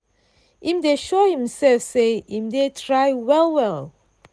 im dey show himself say im dey try well-well.